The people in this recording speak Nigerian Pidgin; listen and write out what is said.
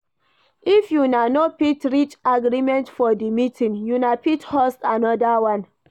If una no fit reach agreement for di meeting una fit host anoda one